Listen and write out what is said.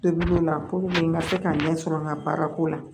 Tobiliw la puruke n ka se ka ɲɛ sɔrɔ n ka baara ko la